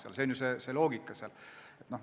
See on see loogika.